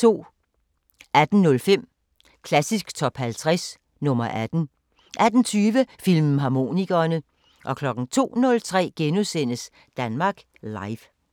18:05: Klassisk Top 50 – nr. 18 18:20: Filmharmonikerne 02:03: Danmark Live *